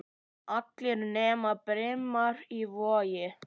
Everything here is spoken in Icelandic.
Allir nema Brimar í Vogi.